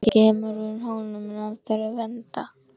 Nú kemur hún honum enn og aftur í vanda.